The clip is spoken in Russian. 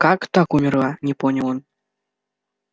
как так умерла не понял он